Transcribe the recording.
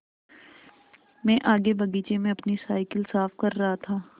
मैं आगे बगीचे में अपनी साईकिल साफ़ कर रहा था